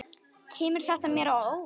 Kemur þetta mér á óvart?